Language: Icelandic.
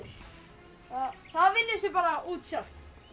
það vinnur sig bara út sjálft